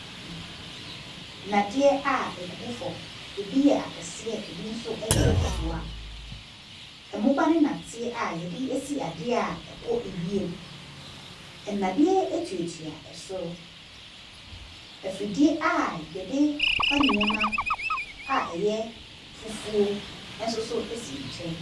Nnadeɛ a egugu fam. Ebi yɛ akɛseɛ, ebi nso yɛ nketewa. Mmoba ne nnɔteɛ a yɛde asi adeɛ a ɛkɔ wiem. Ɛnnadeɛ etuatua so. Afidie a yɛde fa nneɛma a ɛyɛ fufuo ɛnso so si nkyɛn.